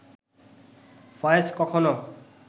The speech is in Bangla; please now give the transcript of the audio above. ফয়েজ কখনো